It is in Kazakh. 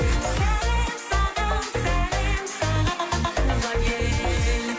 сәлем саған сәлем саған туған ел